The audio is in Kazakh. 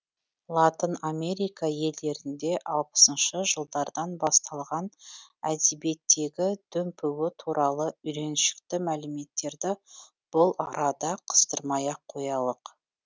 латын америка елдерінде алпысыншы жылдардан басталған әдебиеттегі дүмпуі туралы үйреншікті мәліметтерді бұл арада қыстырмай ақ қоялық